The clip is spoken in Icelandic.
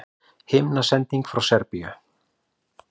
Himnasending frá Serbíu